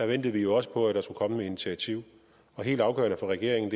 ventede vi jo også på at der skulle komme et initiativ helt afgørende for regeringen